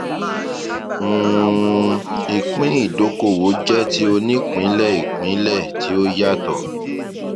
um ìpín ìdókòwò jẹ ti onípínlẹìpínlẹ tí ó yàtọ